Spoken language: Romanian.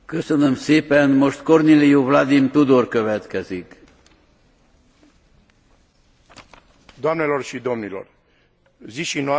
Zi și noapte pe planetă se întâmplă grozăvii care șochează.